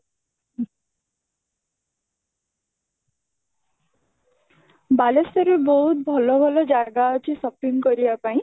ବାଲେଶ୍ଵର ରେ ବହୁତ ଭଲ ଭଲ ଜାଗା ଅଛି shopping କରିବା ପାଇଁ